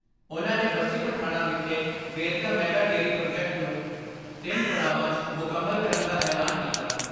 ਉਨ੍ਹਾਂ ਨੇ ਬਸੀ ਪਠਾਣਾਂ ਵਿਖੇ ਵੇਰਕਾ ਮੈਗਾ ਡੇਅਰੀ ਪ੍ਰਾਜੈਕਟ ਨੂੰ ਤਿੰਨ ਪੜਾਵਾਂ 'ਚ ਮੁਕੰਮਲ ਕਰਨ ਦਾ ਐਲਾਨ ਕੀਤਾ।